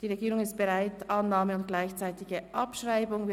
Die Regierung ist zur Annahme und bei gleichzeitiger Abschreibung bereit.